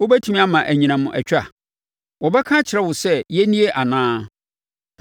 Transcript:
Wobɛtumi ama anyinam atwa? Wɔbɛka akyerɛ wo sɛ, ‘Yɛnnie anaa’?